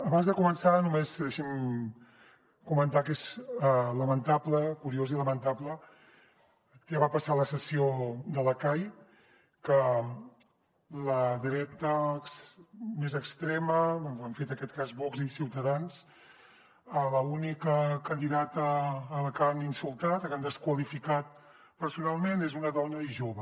abans de començar només deixi’m comentar que és lamentable curiós i lamentable el que va passar a la sessió de la cai en què la dreta més extrema ho han fet en aquest cas vox i ciutadans l’única candidata a la que han insultat a la que han desqualificat personalment és una dona i jove